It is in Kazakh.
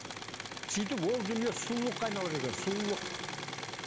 сөйтіп ол дүние сұлулыққа айналады екен сұлулық